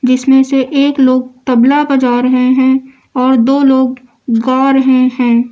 जिसमें से एक लोग तबला बजा रहे हैं और दो लोग गा रहे हैं।